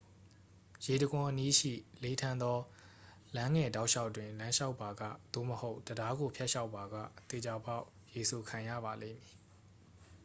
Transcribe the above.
ရေတံခွန်အနီးရှိ လေထန်သောလမ်းငယ်တောက်လျှောက်တွင် လမ်းလျှောက်ပါက သို့မဟုတ် တံတားကိုဖြတ်လျှောက်ပါက သေချာပေါက်ရေစိုခံရပါလိမ့်မည်